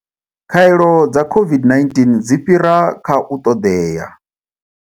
Khaelo dza COVID-19 dzi fhira kha u ṱoḓea.